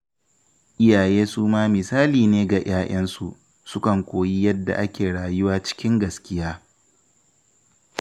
Iyaye su ma misali ne ga ‘ya’yansu, sukan koyi yadda ake rayuwa cikin gaskiya